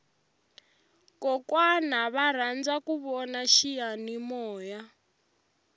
kokwana va rhandza ku vona xiyamimoya